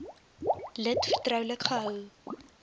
lid vertroulik gehou